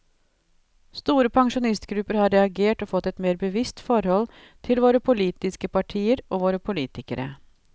Store pensjonistgrupper har reagert og fått et mer bevisst forhold til våre politiske partier og våre politikere.